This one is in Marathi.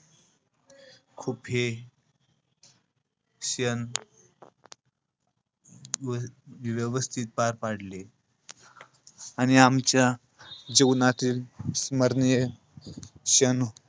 खूप हे क्षण वि~ व्यवस्थित पार पाडले. आणि आमच्या जीवनातील स्मरणीय क्षण,